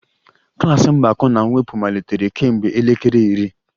Klas mgbakọ na mwepụ malitere kemgbe elekere iri